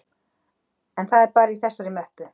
En það er bara í þessari möppu